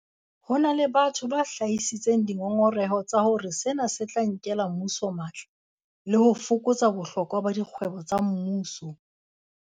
Ho na le batho ba hlahisitseng dingongoreho tsa hore sena se tla nkela mmuso matla le ho fokotsa bohlokwa ba dikgwebo tsa mmuso.